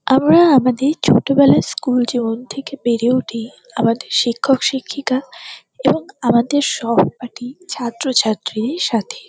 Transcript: আমরা আমাদের ছোটবেলা স্কুল জীবন থেকে বেরে উঠি আমাদের শিক্ষক শিক্ষিকা এবং আমাদের সহপাঠী ছাত্র ছাত্রীর সাথে।